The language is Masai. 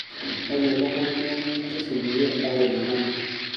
tayiolo nkoitoi neyang'iyang'ie osesen pee intau enyamali